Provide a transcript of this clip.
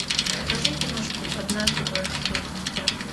покажи киношку однажды двадцать лет спустя